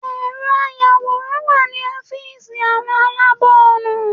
Ẹ̀rọ ayàwòrán wà ní ọ́fíìsì àwọn aláàbọ̀ ọ̀nà.